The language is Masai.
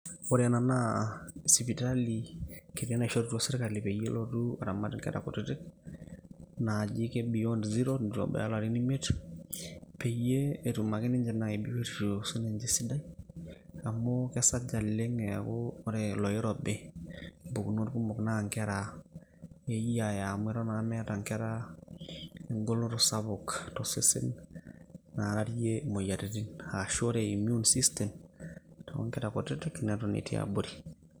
Ore ena naa sipitali, kiti naishorutua sirkali peyie elotu aramat inkera kutitik, naaji ke beyond zero ,nitu ebaya larin imiet, peyie etum ake ninche nai biotisho sininche sidai. Amu kesaj oleng' eeku ore loirobi, mpukunot kumok na nkera eyiaya amu eton naa meeta nkera egoloto sapuk tosesen nararie imoyiaritin ashu ore immune system ,tonkera kutitik neton etii abori.